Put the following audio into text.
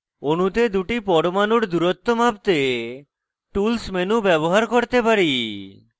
অণুতে দুটি পরমাণুর দূরত্ব মাপতে tools menu ব্যবহার করতে পারি